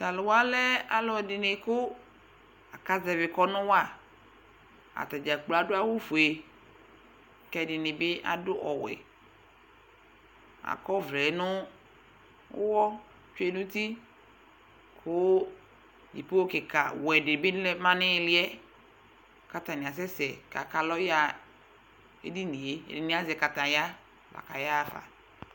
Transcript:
Taluwa lɛ alu ɛdini kʋ akazɛvi kɔnu waAtadzakplo adʋ awu fue, kɛdini bi adu ɔwɛAkɔvɛ nʋ uwɔ tsuenuti Kʋ ikokika wɛ dibi ma nihiliɛKatani asɛsɛ akalɔ yaɣa edinie Ɛdini azɛ kataya